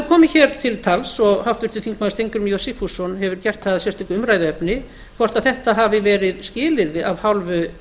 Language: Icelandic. komið hér til tals og háttvirtur þingmaður steingrímur j sigfússon hefur gert það að sérstöku umræðuefni hvort þetta hafi verið skilyrði af hálfu